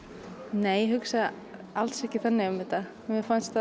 nei ég hugsa alls ekki þannig um þetta mér fannst